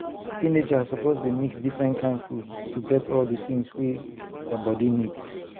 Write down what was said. teenagers suppose dey mix different kain food to get all the things wey their body need.